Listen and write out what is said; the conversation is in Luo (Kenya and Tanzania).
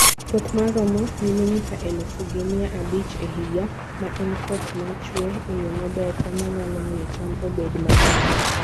Koth ma romo milimita elufu gi mia abich e higa, ma en koth ma chue e yo maber, e ma nyalo miyo cham obed mang'eny.